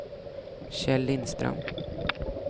Kjell Lindström